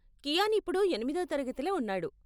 కియాన్ ఇప్పుడు ఎనిమిదో తరగతిలో ఉన్నాడు.